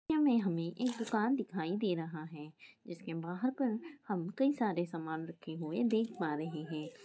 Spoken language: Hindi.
हमे एक दुकान दिखाई दे रहा हैं जिस के बाहर पर हम कही सारे समान राखे हुये दिख रहे हैं।